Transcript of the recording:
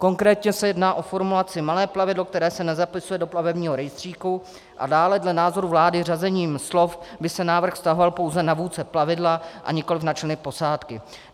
Konkrétně se jedná o formulaci malé plavidlo, které se nezapisuje do plavebního rejstříku, a dále dle názoru vlády řazením slov by se návrh vztahoval pouze na vůdce plavidla a nikoliv na členy posádky.